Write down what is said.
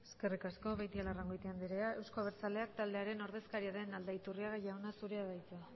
eskerrik asko beitialarrangoitia andrea euzko abertzaleak taldearen ordezkaria den aldaiturriaga jauna zurea da hitza